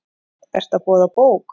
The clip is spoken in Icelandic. Ertu að boða bók?